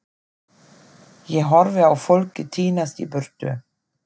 Ég horfi á fólkið tínast í burtu.